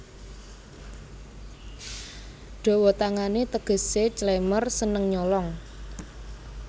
Dawa tangané tegesé clemer seneng nyolong